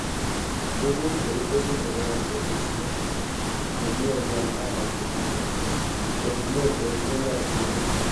Tuguk chekitesyi chebo konetishet komie ngwony ak katikati chorunet eng ematinwek